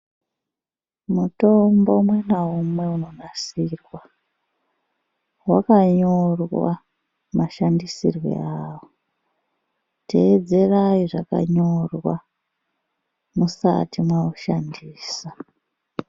Mutombo umwe naumwe inonasirwa wakanyorwa mashandisirwo awo teedzerai zvakanyorwa musati maushandisa.